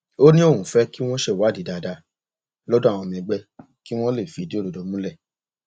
ó ní òun fẹ kí wọn ṣèwádìí dáadáa lọdọ àwọn ọmọ ẹgbẹ kí wọn lè fìdí òdodo múlẹ